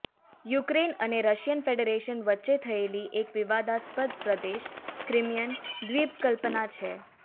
Ukraine અને Russian federation વચ્ચે થયેલી એક વિવાદાસ્પદ પ્રદેશ ક્રિમિઅન દ્વીપકલ્પના છે